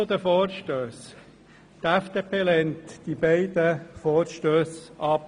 Zu den Vorstössen mit den Traktandennummern 37 und 38: Die FDP lehnt beide Vorstösse ab.